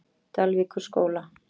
Dalvíkurskóla